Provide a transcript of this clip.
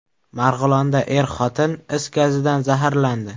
Marg‘ilonda er-xotin is gazidan zaharlandi.